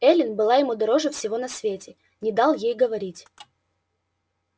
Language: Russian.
эллин была ему дороже всего на свете не дал ей говорить